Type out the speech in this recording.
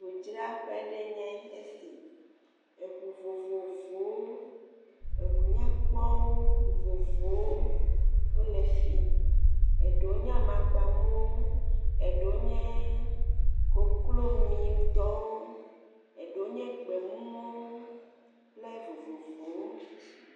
Ŋudzraƒe aɖee nye esi. Eŋu vovovowo. Eŋunyakpɔwo vovovowo wole fii. Eɖewo nye amakpamumu, eɖewo nye koklomiitɔwo, Eɖewo nye gbemumuwo kple vovovowo.